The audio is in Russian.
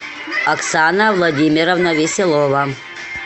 оксана владимировна веселова